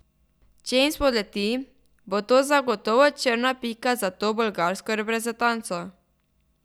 Če jim spodleti, bo to zagotovo črna pika za to bolgarsko reprezentanco.